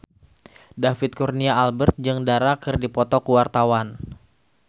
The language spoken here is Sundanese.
David Kurnia Albert jeung Dara keur dipoto ku wartawan